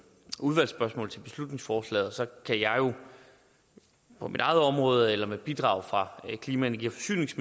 udvalgsspørgsmål til beslutningsforslaget så kan jeg jo på mit eget område eller med bidrag fra energi forsynings